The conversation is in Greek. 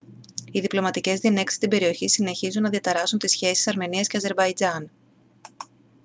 οι διπλωματικές διενέξεις στην περιοχή συνεχίσουν να διαταράσσουν τις σχέσεις αρμενίας και αζερμπαϊτζάν